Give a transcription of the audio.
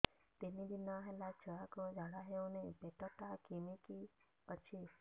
ତିନି ଦିନ ହେଲା ଛୁଆକୁ ଝାଡ଼ା ହଉନି ପେଟ ଟା କିମି କି ଅଛି